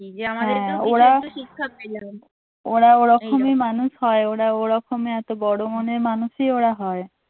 ওরা ওরকমই মানুষ হয় ওরা ওরকমে এত বড় মনের মানুষই ওরা হয়।